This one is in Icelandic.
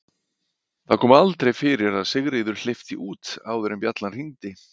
Það kom aldrei fyrir að Sigríður hleypti út áður en bjallan hringdi.